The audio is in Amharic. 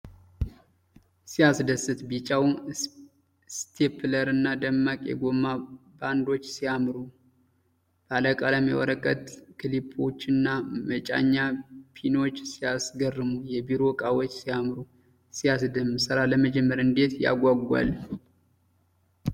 ሲያስደስት! ቢጫው ስቴፕለርና ደማቅ የጎማ ባንዶች ሲያምሩ! ባለቀለም የወረቀት ክሊፖችና መጫኛ ፒኖች ሲያስገርሙ! የቢሮ እቃዎች ሲያምሩ! ሲያስደምም! ሥራ ለመጀመር እንዴት ያጓጓል!